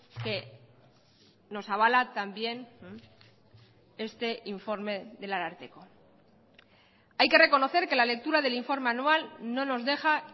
que nos avala también este informe del ararteko hay que reconocer que la lectura del informe anual no nos deja